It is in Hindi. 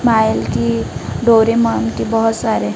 की डोरेमोन की बहुत सारे--